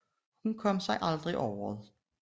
Hun kom sig aldrig over det